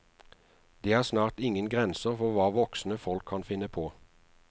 Det snart ingen grenser for hva voksne folk kan finne på.